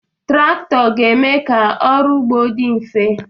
Traktọ ga-eme ka ọrụ ugbo dị mfe